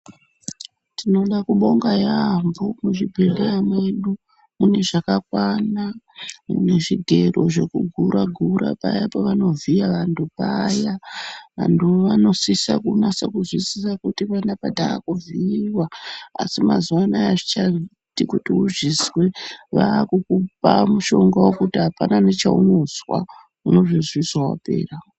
Tinoda kubonga yaamho muzvibhedhleya mwedu mune zvakakwana nezvigero zvekugura-gura paya pavanovhiya vantu paya vantu vanosisa kunasa kuzwisisa kuti panapa taakuvhiiwa asi mazuwa anaya azvichaiti kuti uzvizwe vakukupa mushonga wekuti wekuti apana nechaunozwa, unozozvizwa wapera.